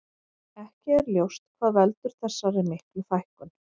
Ekki er ljós hvað veldur þessar miklu fækkun.